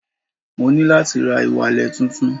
Mo ní láti ra ìwalẹ̀ tuntun